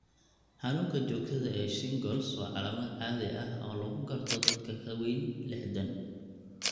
Xanuunka joogtada ah ee shingles waa calaamad caadi ah oo lagu garto dadka ka weyn liixdhaan.